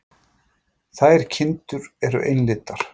Þær kindur eru einlitar.